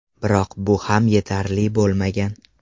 Biroq bu ham yetarli bo‘lmagan.